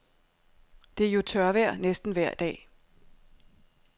Det er jo tørvejr næsten vejr dag.